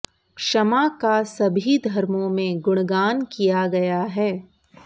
क्षमा का सभी धर्मों में गुणगान किया गया है